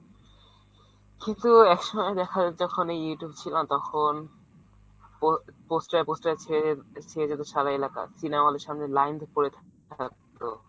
কিন্তু একসময় দেখা যায় যখন এই Youtube ছিল না তখন poster, poster এ ছেয়ে যেত সারা এলাকা। Cinema hall এর সামনে line পরে থাকতো।